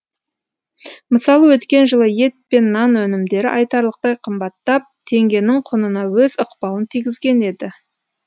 мысалы өткен жылы ет пен нан өнімдері айтарлықтай қымбаттап теңгенің құнына өз ықпалын тигізген еді